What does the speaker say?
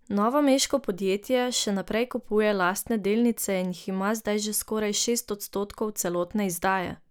Novomeško podjetje še naprej kupuje lastne delnice in jih ima zdaj že skoraj šest odstotkov celotne izdaje.